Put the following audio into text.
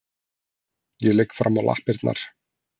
Ég ligg fram á lappirnar.